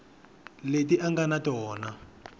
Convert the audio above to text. leti a nga na tona